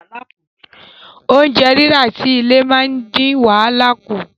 Oúnjẹ rírà sí ilé máa ń dín wàhálà kù